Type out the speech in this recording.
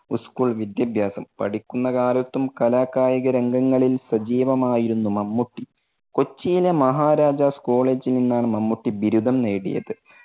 school വിദ്യാഭ്യാസം, പഠിക്കുന്ന കാലത്തും കലാ കായിക രംഗങ്ങളിൽ സജീവമായിരുന്നു മമ്മൂട്ടി. കൊച്ചിയിലെ മഹാരാജാസ് കോളേജിൽ നിന്നാണ് മമ്മൂട്ടി ബിരുദം നേടിയത്.